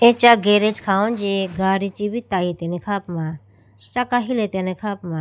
Acha garage khawuji gadi chibi tayitene kha puma chaka hilatene kha puma.